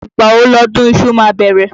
Ìgbà wo lọdún iṣu ma bẹ̀rẹ̀?